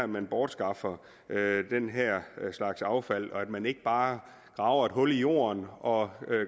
man bortskaffer den her slags affald og at man ikke bare graver et hul i jorden og